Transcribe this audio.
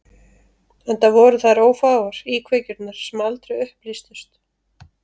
Enda voru þær ófáar, íkveikjurnar sem aldrei upplýstust.